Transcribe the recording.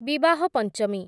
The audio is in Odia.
ବିବାହ ପଞ୍ଚମୀ